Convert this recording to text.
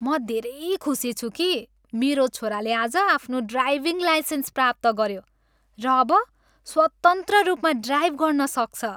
म धेरै खुसी छु कि मेरो छोराले आज आफ्नो ड्राइभिङ लाइसेन्स प्राप्त गऱ्यो र अब स्वतन्त्र रूपमा ड्राइभ गर्न सक्छ।